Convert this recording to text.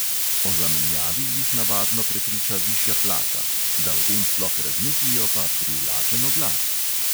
O zamenjavi jih navadno prepriča višja plača – da o tem sploh razmislijo, pa privlačen oglas.